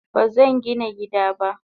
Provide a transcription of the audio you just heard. Bazangina gida ba.